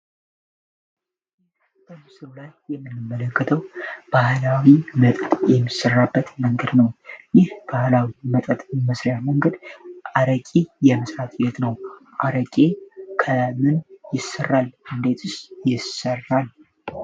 ይህ በምስሎ ላይ የምንመለከተው ባህላዊ መጠጥ ምስራበት መንገድ ነው፡፡ ይህ ባህላዊ መጠጥ መስሪያ መንገድ አረቂ የምስራትየት ነው አረቂ ከምን ይሰራል እንዴት ይሰራል፡፡